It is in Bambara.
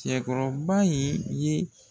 Tiyɛkɔrɔba in ye